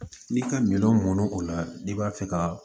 N'i ka minɛnw mɔn o la n'i b'a fɛ ka